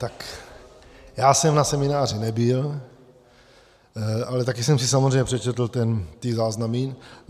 Tak já jsem na semináři nebyl, ale taky jsem si samozřejmě přečetl ty záznamy.